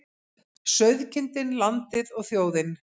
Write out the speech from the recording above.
Sauðkindin, landið og þjóðin.